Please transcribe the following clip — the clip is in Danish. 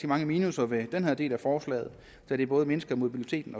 mange minusser ved den her del af forslaget da det både mindsker mobiliteten